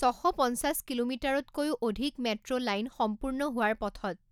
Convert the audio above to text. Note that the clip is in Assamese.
ছশ পঞ্চাছ কিলোমিটাৰতকৈও অধিক মেট্ৰ লাইন সম্পূৰ্ণ হোৱাৰ পথত।